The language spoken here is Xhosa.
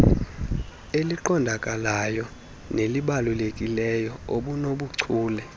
eliqondakalayo nelibalulekileyo obunobuchule